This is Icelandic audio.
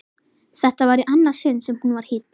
Þetta var í annað sinn sem hún var hýdd.